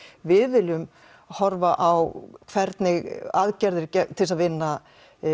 við viljum horfa á hvernig aðgerðir til þess að vinna